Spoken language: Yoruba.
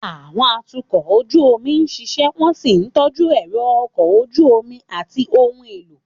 Àwọn atukọ̀ ojú omi ń ṣiṣẹ́ wọ́n sì ń tọ́jú ẹ̀rọ ọkọ̀ ojú omi àti ohun èlò.